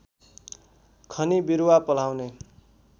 खनी बिरुवा पल्हाउने